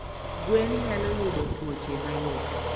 Gwen nyalo yudo tuoche mayot